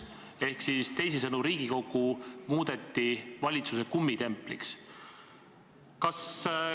Ehk teisisõnu, Riigikogu muudeti valitsuse kummitempliks.